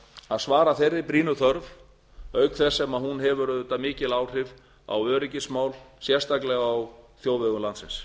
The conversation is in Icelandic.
að svara þeirri brýnu þörf auk þess sem hún hefur auðvitað mikil áhrif á öryggismál sérstaklega á þjóðvegum landsins